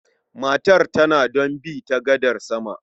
Matar tana don bi ta gadar sama.